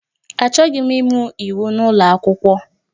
Achọghị m ịmụ iwu n'ụlọ akwụkwọ